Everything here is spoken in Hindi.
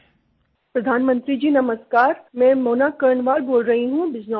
प्रधानमंत्री जी नमस्कार मैं मोना कर्णवाल बोल रही हूँ बिजनौर से